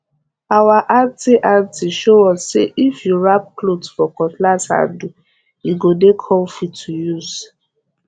our aunty aunty show us say if you wrap cloth for cutlass handle e go dey comfy to use